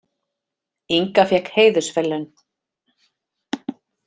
Inga fékk heiðursverðlaun